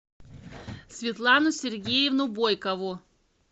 светлану сергеевну бойкову